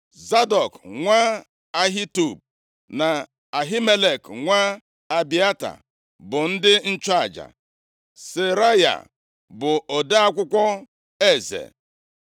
Zadọk + 8:17 Zadọk bụ nwa nwa Elieza, onye nchụaja, \+xt 2Ih 24:3\+xt* nke nọgidere nʼarụ ọrụ ya nʼikwesị ntụkwasị obi nye Devid. Ọ bụ ya tere Solomọn mmanụ ịbụ eze nʼọnọdụ Devid. \+xt 1Ez 1:32-35; 1Ih 23:1; 29:22\+xt* nwa Ahitub, na Ahimelek nwa Abịata, bụ ndị nchụaja; Seraya bụ ode akwụkwọ eze.